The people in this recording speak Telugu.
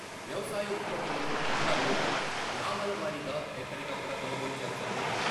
వ్యవసాయ ఉత్పత్తులను అధికారులు గ్రామాల వారీగా ఎక్కడికక్కడ కొనుగోలు చేస్తారని....